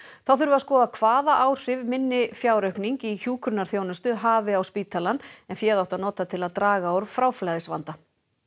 þá þurfi að skoða hvaða áhrif minni fjáraukning í hjúkrunarþjónustu hafi á spítalann en féð átti að nota til að draga úr fráflæðisvanda